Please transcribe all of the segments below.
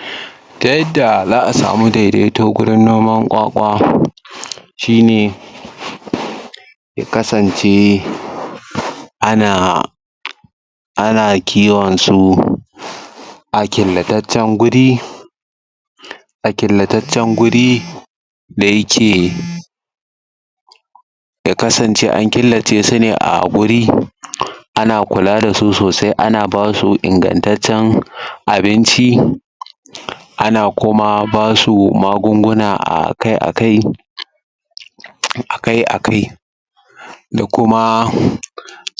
um ta yadda za'a sami daidaito gurin noman ƙwaƙwa shi ne ya kasance ana ana kiwonsu a killataccen guri a killataccen guri da yake ya kasance an killace sune a guri ana kula dasu sosai anaba su ingantaccen abinci um ana kuma basu magunguna akai-akai um duk akai-akai da kuma um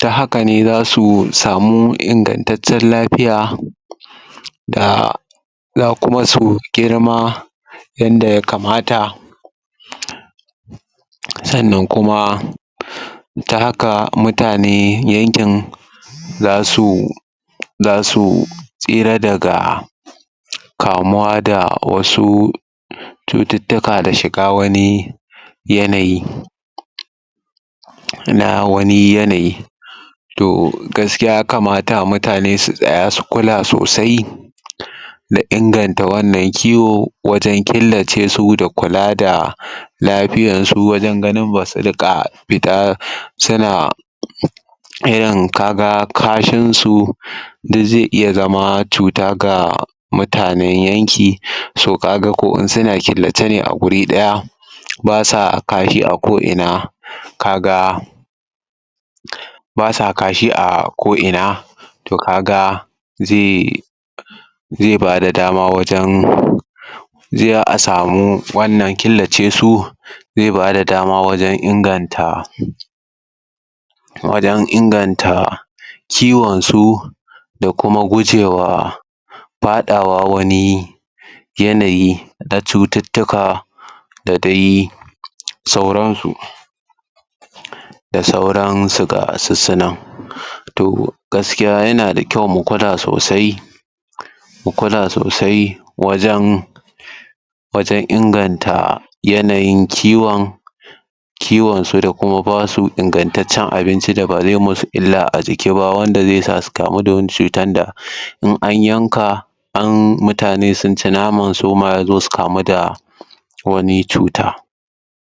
ta hakane zasu samu ingantaccen lafiya da za kuma su girma yan da yakamata um sannan kuma um ta haka mutane yankin zasu zasu tsira daga kamuwa da wasu cututtuka da shiga wani yanayi na wani yanayi toh gaskiya yakamata mutane su tsaya su kula sosai um da inganta wannan kiwo wajen killace su da kula da lafiyansu wajen ganin basu riƙa fita suna irin kaga kashin su da zai iya zama cuta ga mutanen yanki so kaga ko in suna killacene a guri ɗaya basa kashi ako ina kaga um basa kashi ako ina toh kaga zai zai bada dama wajan um a samu wannan killace su zai bada dama wajen inganta wajen inganta ciwon su da kuma gujewa faɗawa wani yanayi na cututtuka da dai sauran su da sauran su gasussunan toh gaskiya yana da kyau mu gwada sosai mu kula sosai wajan wajan inganta yanayin kiwon kiwon su da kuma basu ingantaccen abinci da ba zai musu illa a jiki ba wanda zai sa su kamu da wani cutan da in an yanka an mutane sun ci naman suma yazo su kamu da wani cuta.